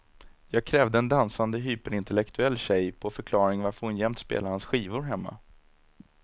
Jag krävde en dansande hyperintellektuell tjej på förklaring varför hon jämt spelar hans skivor hemma.